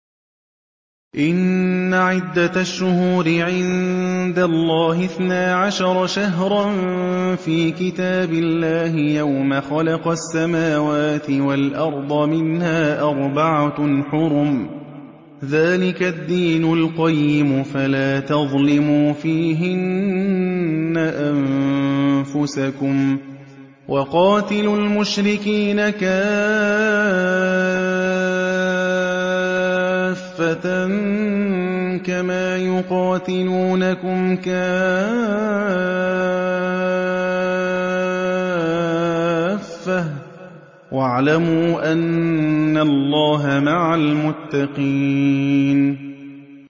إِنَّ عِدَّةَ الشُّهُورِ عِندَ اللَّهِ اثْنَا عَشَرَ شَهْرًا فِي كِتَابِ اللَّهِ يَوْمَ خَلَقَ السَّمَاوَاتِ وَالْأَرْضَ مِنْهَا أَرْبَعَةٌ حُرُمٌ ۚ ذَٰلِكَ الدِّينُ الْقَيِّمُ ۚ فَلَا تَظْلِمُوا فِيهِنَّ أَنفُسَكُمْ ۚ وَقَاتِلُوا الْمُشْرِكِينَ كَافَّةً كَمَا يُقَاتِلُونَكُمْ كَافَّةً ۚ وَاعْلَمُوا أَنَّ اللَّهَ مَعَ الْمُتَّقِينَ